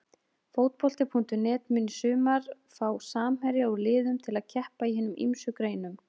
Fótbolti.net mun í sumar fá samherja úr liðum til að keppa í hinum ýmsu greinum.